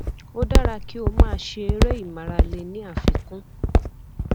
ó dára kí o máa ṣe eré ìmárale ní àfikún